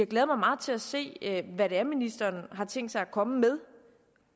glæder mig meget til at se hvad det er ministeren har tænkt sig at komme med